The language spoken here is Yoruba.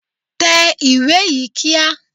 Tẹ ìwé yìí kíá!